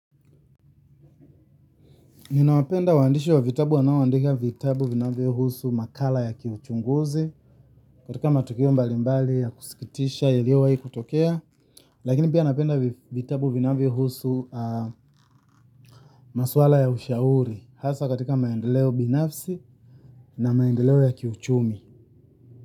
Ninawapenda waandishi wa vitabu wanaoandika vitabu vinavyohusu makala ya kiuchunguzi katika matukio mbalimbali ya kusikitisha yaliowai kutokea lakini pia napenda vitabu vinavyo husu maswala ya ushauri hasa katika maendeleo binafsi na maendeleo ya kiuchumi.